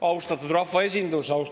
Austatud rahvaesindus!